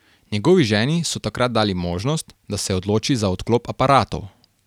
Njegovi ženi so takrat dali možnost, da se odloči za odklop aparatov.